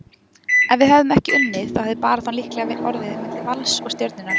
Ef við hefðum ekki unnið þá hefði baráttan líklega orðið á milli Vals og Stjörnunnar,